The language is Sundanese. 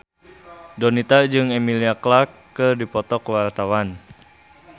Donita jeung Emilia Clarke keur dipoto ku wartawan